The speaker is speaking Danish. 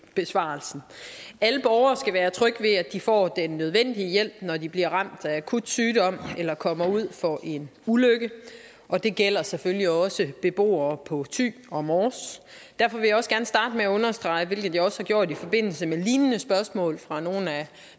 besvarelsen alle borgere skal være trygge ved at de kan få den nødvendige hjælp når de bliver ramt af akut sygdom eller kommer ud for en ulykke og det gælder selvfølgelig også beboere på thy og mors derfor vil jeg også gerne starte med at understrege hvilket jeg også har gjort i forbindelse med lignende spørgsmål fra nogle af